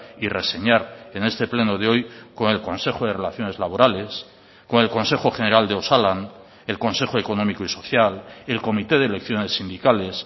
y reseñar en este pleno de hoy con el consejo de relaciones laborales con el consejo general de osalan el consejo económico y social el comité de elecciones sindicales